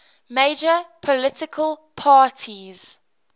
major political parties